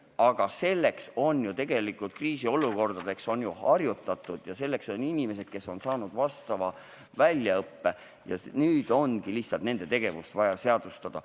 Aga kriisiolukordadeks on ju harjutatud ja selleks on olemas inimesed, kes on saanud vastava väljaõppe, ja nüüd on lihtsalt nende tegevus vaja seadustada.